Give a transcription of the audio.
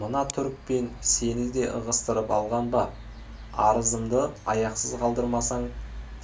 мына түрікпен сені де ығыстырып алған ба арызымды аяқсыз қалдырамысың